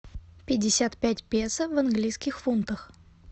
пятьдесят пять песо в английских фунтах